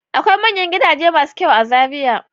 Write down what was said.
Akwai manyan gidaje masu kyau a Zariya.